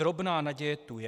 Drobná naděje tu je.